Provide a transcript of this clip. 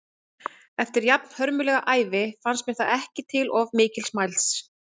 Verðlagsbreytingar eru reiknaðar út frá verðvísitölum, á Íslandi oftast vísitölu neysluverðs sem Hagstofan reiknar út.